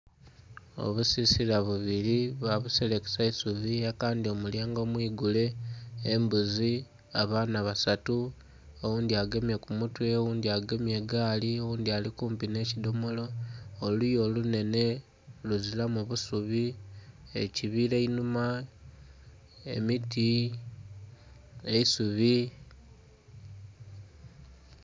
Obusisila bubiri babuselekesa isubi kandhi omulyango mwigule, embuzi, abaana basatu. Oghundhi agemye ku mutwe, oghundhi agemye egaali, oghundhi ali kumpi nhe kidhomolo. Oluya olunhene luzilamu busubi, ekibila einhuma, emiti, eisubi.